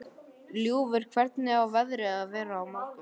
Ljúfur, hvernig er veðrið á morgun?